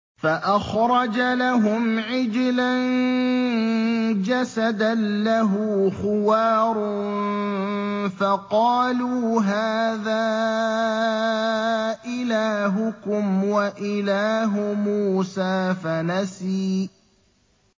فَأَخْرَجَ لَهُمْ عِجْلًا جَسَدًا لَّهُ خُوَارٌ فَقَالُوا هَٰذَا إِلَٰهُكُمْ وَإِلَٰهُ مُوسَىٰ فَنَسِيَ